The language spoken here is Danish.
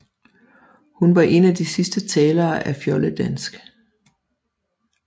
Hun var en af de sidste talere af fjoldedansk